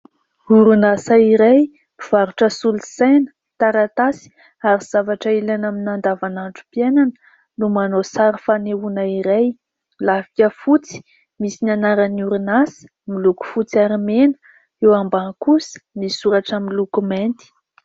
Orinasa iray mpivarotra solosaina, taratasy, ary zavatra ilaina amin'ny andavanandrom-piainana no manao sary fanehoana iray. Lafika fotsy misy ny anaran'ny orinasa miloko fotsy, ary mena; ny eo ambany kosa misy soratra miloko mainty.